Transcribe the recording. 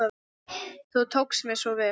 Þú tókst mér svo vel.